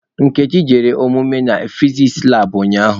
Nkechi jere ọmụmụ na fiziks labụ ụnyaahụ.